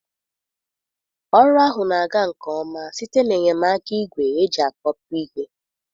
Ọrụ ahụ na-aga nke ọma site n'enyemaka igwe eji akpọpu ihe.